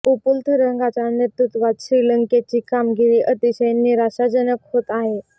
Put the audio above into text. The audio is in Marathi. उपुल थरंगाच्या नेतृत्त्वात श्रीलंकेची कामगिरी अतिशय निराशाजनक होत आहे